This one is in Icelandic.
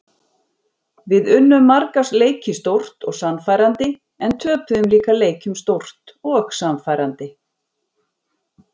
Við unnum marga leiki stórt og sannfærandi en töpuðum líka leikjum stórt og sannfærandi.